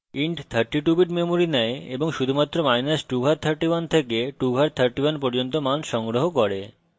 int 32 bits memory নেয় এবং শুধুমাত্র2 ঘাত 31 থেকে 2 ঘাত 31 পর্যন্ত মান সংগ্রহ করে